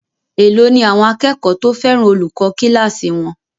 Èló ni àwọn akẹ́kọ̀ọ́ fẹ́ràn olùkọ́ kíláàsì wọn?